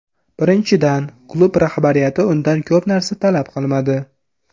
Birinchidan, klub rahbariyati undan ko‘p narsa talab qilmadi.